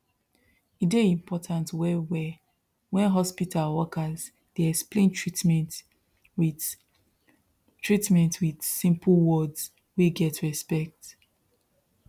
e dey important wellwell when hospital workers dey explain treatment with treatment with simple words wey get respect